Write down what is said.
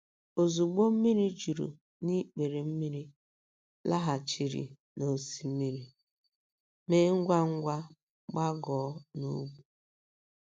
Ozugbo mmiri juru n’ikpere mmiri laghachiri n’osimiri, mee ngwa ngwa gbagoo n’ugwu.